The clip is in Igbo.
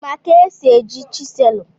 Ị ma ka esi eji chiselụ?